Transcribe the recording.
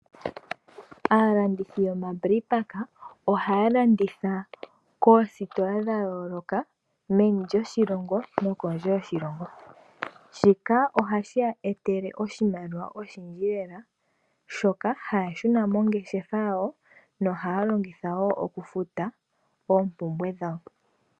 Aalandithi yomabreipaka ohaya landitha koositola dha yooloka, meni lyo shilongo no kondje yoshilongo. Shika ohashi eta oshimaliwa oshindji lela shoka hay shuna mongeshefa yawo no haya longitha woo okufuta oompumbwe dhawo.